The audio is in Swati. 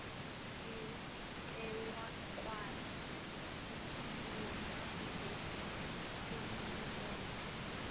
sitewukwati kukhuluma ngenkhululeko